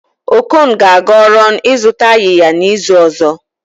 Okon ga-aga Ọrọn ịzụta ayịya n'izu ọzọ